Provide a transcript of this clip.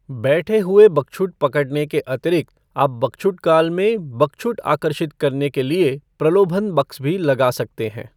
बैठे हुए बकछुट पकड़ने के अतिरिक्त आप बकछुट काल में बकछुट आकर्षित करने के लिए प्रलोभन बक्स भी लगा सकते हैं।